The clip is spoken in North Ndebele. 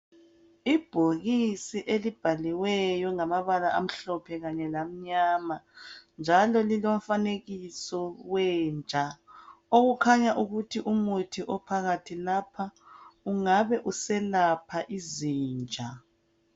Ibhokisi elibhaliweyo ngamabala amhlophe kanye lamnyama, njalo lilomfanekiso wenja, okukhanya ukuthi umuthi ophakathi lapha ungabe uselapha izinja.